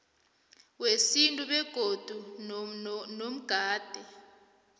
wesintu begodu nogade